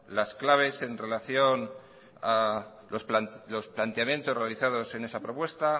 las claves en relación a los planteamientos realizados en esa propuesta